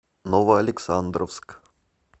новоалександровск